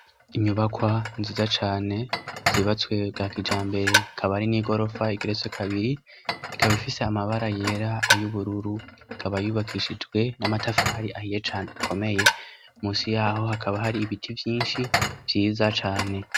inyubakwa nziza cane zubatswe bwakijambere akaba ari n'igorofa igeretse kabiri ikaba ifise amabara yera ay'ubururu ikaba yubakishijwe n'amatafari ahiye cane akomeye munsi yaho hakaba hari ibiti vyinshi vyiza cane